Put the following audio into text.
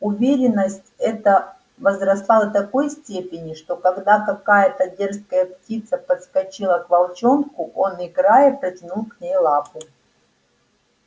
уверенность эта возросла до такой степени что когда какая-то дерзкая птица подскочила к волчонку он играя протянул к ней лапу